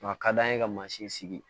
a ka d'an ye ka mansin sigi